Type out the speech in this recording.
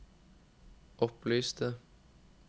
opplyste